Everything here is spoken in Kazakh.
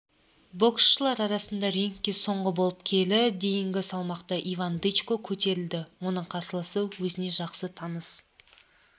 боксшылар арасында рингке соңғы болып келі дейінгі салмақта иван дычко көтерілді оның қарсыласы өзіне жақсы таныс